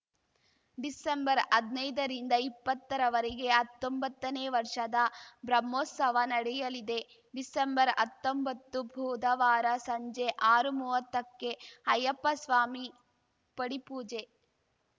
ಡಿಸೆಂಬರ್ಹದ್ನೈದರಿಂದ ಇಪ್ಪತ್ತರವೆರೆಗೆ ಹತ್ತೊಂಬತ್ತನೇ ವರ್ಷದ ಬ್ರಹ್ಮೋತ್ಸವ ನಡೆಯಲಿದೆ ಡಿಸೆಂಬರ್ಹತ್ತೊಂಬತ್ತು ಬುಧವಾರ ಸಂಜೆ ಆರುಮೂವತ್ತಕ್ಕೆ ಅಯ್ಯಪ್ಪಸ್ವಾಮಿ ಪಡಿಪೂಜೆ